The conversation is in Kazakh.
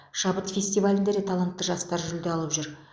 шабыт фестивалінде де талантты жастар жүлде алып жүр